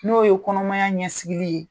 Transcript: N'o ye kɔnɔmaya ɲɛsigili ye